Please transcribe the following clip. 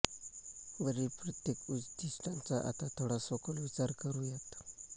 वरील प्रत्येक उद्दिष्टाचा आता थोडा सखोल विचार करुयात